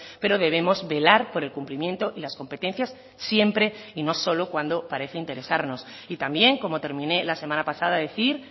pero debemos velar por el cumplimiento y las competencias siempre y no solo cuando parece interesarnos y también como terminé la semana pasada decir